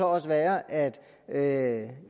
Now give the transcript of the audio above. også være at at